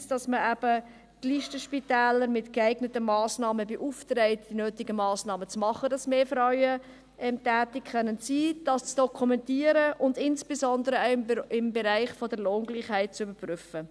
Einerseits, dass man die Listenspitäler mit geeigneten Massnahmen beauftragt, die nötigen Massnahmen zu treffen, damit mehr Frauen tätig sein können, dies zu dokumentieren und insbesondere den Bereich der Lohngleichheit zu überprüfen.